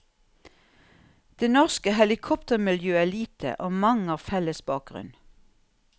Det norske helikoptermiljøet er lite, og mange har felles bakgrunn.